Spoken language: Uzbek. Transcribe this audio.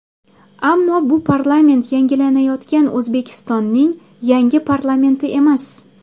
Ammo bu parlament yangilanayotgan O‘zbekistonning yangi parlamenti emas.